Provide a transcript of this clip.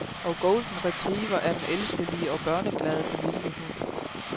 Og golden retriever er den elskelige og børneglade familiehund.